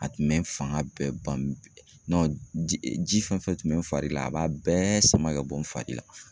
A tun bɛ n fanga bɛɛ ban ji fɛn fɛn tun bɛ n fari la, a b'a bɛɛ sama ka bɔ n fari la.